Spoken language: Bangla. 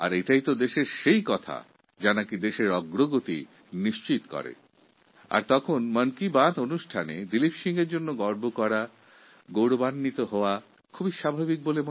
এই কাজগুলোই দেশকে উন্নতির দিকে এগিয়ে নিয়ে যায় আর মন কি বাত অনুষ্ঠানে দিলীপ সিংকে গৌরাবান্বিত করা এবং তার জন্য আমাদের গর্ব বোধ করা খুবই স্বাভাবিক